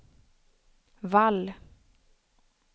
Wall